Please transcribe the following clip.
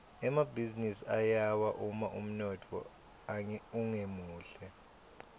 emabhizinisi ayawa uma umnotfo ungemuhle